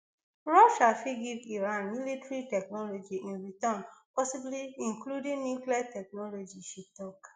russia fit give iran military technology in return possibly including nuclear technology she tok